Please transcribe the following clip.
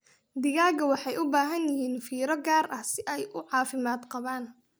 Digaagga waxay u baahan yihiin fiiro gaar ah si ay u caafimaad qabaan.